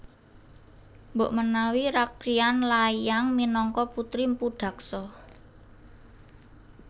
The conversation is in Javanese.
Mbok menawi Rakryan Layang minangka putri Mpu Daksa